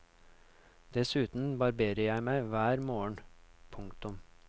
Dessuten barberer jeg meg hver morgen. punktum